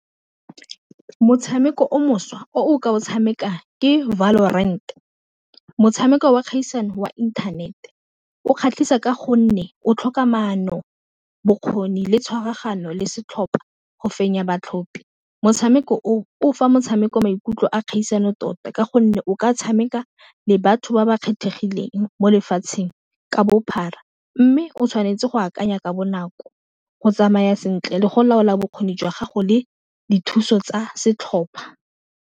Motshameko o mošwa o o ka o tshameka ke Valo Rent-e motshameko wa kgaisano wa internet-e o kgatlhisa ka gonne o tlhoka maono, bokgoni, le tshwaraganyo le setlhopha go fenya batlhopi motshameko o, o fa motshameko maikutlo a kgaisano tota, ka gonne o ka tshameka le batho ba ba kgethegileng mo lefatsheng ka bophara, mme o tshwanetse go akanya ka bonako go tsamaya sentle, le go laola bokgoni jwa gago le dithuso tsa setlhopha.